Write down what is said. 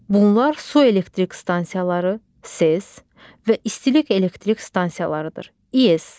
Bunlar su elektrik stansiyaları (SES) və istilik elektrik stansiyalarıdır (İES).